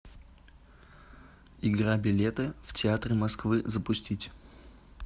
игра билеты в театры москвы запустить